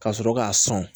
Ka sɔrɔ k'a sɔn